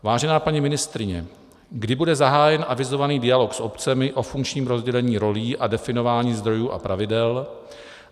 Vážená paní ministryně, kdy bude zahájen avizovaný dialog s obcemi o funkčním rozdělení rolí a definování zdrojů a pravidel?